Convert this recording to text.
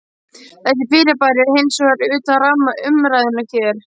Þessi fyrirbæri eru hins vegar utan ramma umræðunnar hér.